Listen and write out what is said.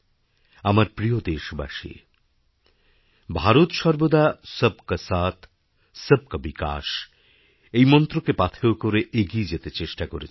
আমার প্রিয় দেশবাসী ভারত সর্বদা সব কা সাথ সব কা বিকাশ এই মন্ত্রকে পাথেয় করে এগিয়ে যেতে চেষ্টা করেছে